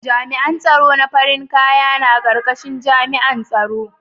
Jami'an tsaron farin kaya na karkashin jami'an tsaro.